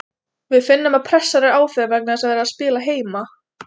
Við finnum að pressan er á þeim vegna þess að þeir eru að spila heima.